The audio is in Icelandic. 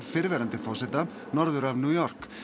fyrrverandi forseta norður af New York